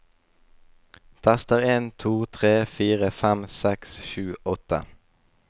Tester en to tre fire fem seks sju åtte